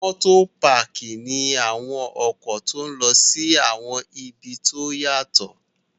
Motopaki ni awọn ọkọ ti o lọ si awọn ibi ti o yatọ